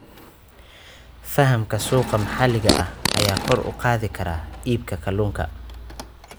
Fahamka suuqa maxalliga ah ayaa kor u qaadi kara iibka kalunka